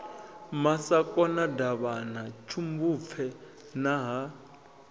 masakona davhana tshimbupfe na ha